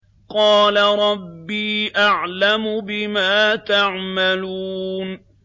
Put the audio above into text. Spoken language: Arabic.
قَالَ رَبِّي أَعْلَمُ بِمَا تَعْمَلُونَ